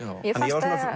svona